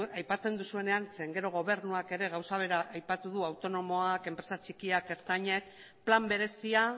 aipatzen duzuenean zeren gero gobernuak ere gauza bera aipatu du autonomoak enpresa txikiak ertainak plan berezia